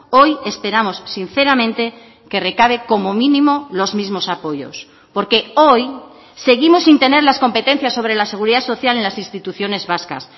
hoy esperamos sinceramente que recabe como mínimo los mismos apoyos porque hoy seguimos sin tener las competencias sobre la seguridad social en las instituciones vascas